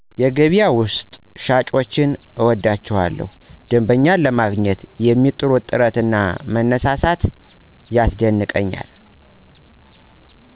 የገበያ ውስጥ ሽያጮችን እወዳቸዋለሁ ደንበኛ ለማግኝት የሚጥሩት ጥረት እና መነሳሳት ያስደንቀኛል።